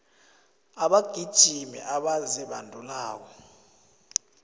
abagijimi abazibandulako